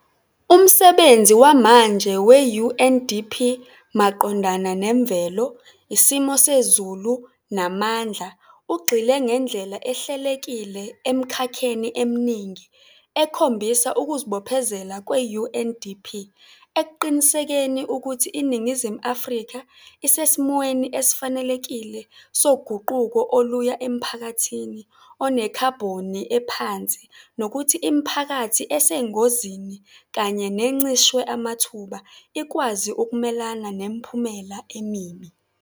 Umsebenzi wamanje we-UNDP maqondana nemvelo, isimo sezulu namandla, ugxile ngendlela ehlelekile emikhakheni eminingi ekhombisa kuzibophezela kwe-UNDP ekuqinisekiseni kuthi iNingizimu Afrika isesimweni esifanelekile soguquko oluya emphakathini onekhabhoni ephansi nokuthi imiphakathi esengozini kanye nencishwe amathuba ikwazi kumelana nemiphumela emibi.